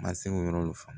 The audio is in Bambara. Ma se k'o yɔrɔ faamu